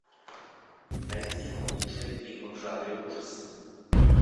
найди лучшие фильмы в жанре ужасы